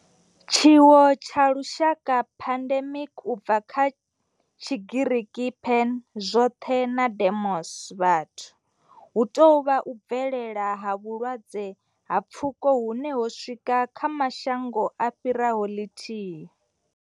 Tshiwo tsha lushaka, pandemic, u bva kha Tshigiriki pan, zwothe na demos, vhathu, hu tou vha u bvelela ha vhulwadze ha pfuko hune ho swika kha mashango a fhiraho ḽithihi.